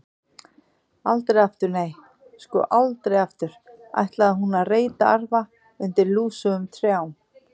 Aldrei aftur, nei, sko, aldrei aftur ætlaði hún að reyta arfa undir lúsugum trjám.